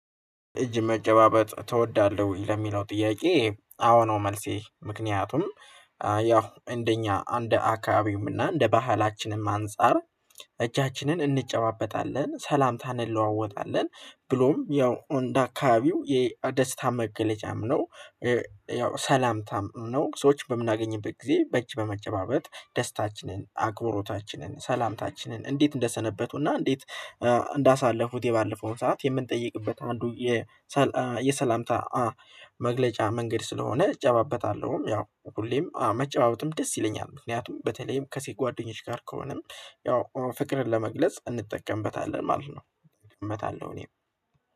እጅ መጨባበጥ ትወዳለህ ለሚለው ጥያቄ አዎ ነው። መልሴ ምክንያቱም ያው እንደኛ እንደ አካባቢውም እና እንደ ባህላችንም አንፃር እጃችንን እንጨባበጣለን ሰላምታን እንለዋወጣለን ብሎም ያው እንደ አካባቢው የደስታ መገለጫም ነው። ያው ሰላምታም ነው ሰዎች በምናገኝበት ጊዜ በእጅ በመጨባበጥ ደስታችንን አክብሮታችንን ሰላምታችንን እንዴት እንደሰነበቱ እና እንዴት እንዳሳለፉት የባለፈውን ሰዓት የምንጠይቅበት አንዱ የ የሰላም መግለጫ መንገድ ስለሆነ እጨባበታለሁም ያው ሁሌም መጨባበትም ደስ ይለኛል። ምክንያቱም በተለይም ከሴ ጓደኞች ጋር ከሆነም ያው ፍቅርን ለመግለጽ እንጠቀምበታለን ማለት ነው። እመታለሁ እኔም